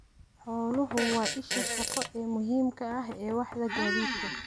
Xooluhu waa isha shaqo ee muhiimka ah ee waaxda gaadiidka.